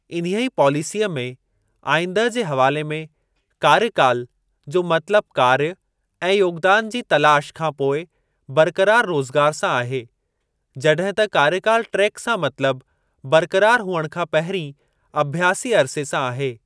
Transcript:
इन्हीअ पॉलिसीअ में आईंदह जे हवाले में 'कार्यकाल' जो मतिलब कार्य ऐं योगदान जी तलाश खां पोइ बरक़रार रोज़गार सां आहे, जड॒हिं त 'कार्यकाल ट्रैक' सां मतलब बरक़रार हुअण खां पहिरीं अभ्यासी अरिसे सां आहे।